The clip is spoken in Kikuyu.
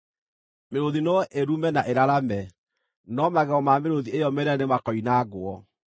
Mĩrũũthi no ĩrume na ĩrarame, no magego ma mĩrũũthi ĩyo mĩnene nĩmakoinangwo.